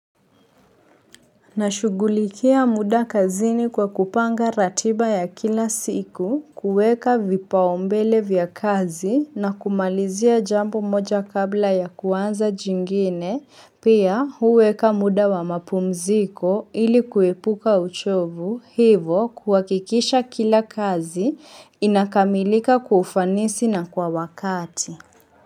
Nashughulikia muda kazini kwa kupanga ratiba ya kila siku, kuweka vipaombele vya kazi, na kumalizia jambo moja kabla ya kuanza jingine, pia huweka muda wa mapumziko ili kuepuka uchovu, hivo kuhakikisha kila kazi inakamilika kwa ufanisi na kwa wakati.